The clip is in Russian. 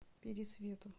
пересвету